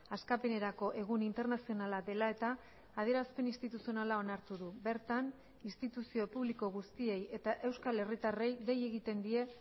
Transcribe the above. askapenerako egun internazionala dela eta adierazpen instituzionala onartu du bertan instituzio publiko guztiei eta euskal herritarrei dei egiten die